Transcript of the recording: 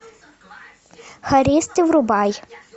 хористы врубай